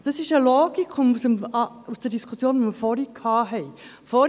Es ist eine Logik aus der Diskussion, die wir vorhin gehabt haben.